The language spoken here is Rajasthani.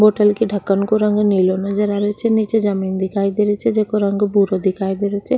बोतल के ढकन को रंग नीलो नजर आ रियो छे नीचे जमींन दिखाई दे रही छे जिको रंग भूरो दिखाई दे रियो छे।